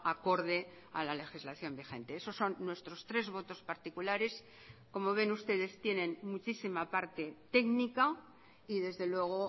acorde a la legislación vigente esos son nuestros tres votos particulares como ven ustedes tienen muchísima parte técnica y desde luego